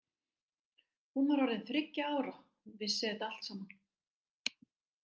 Hún var orðin þriggja ára, hún vissi þetta allt saman.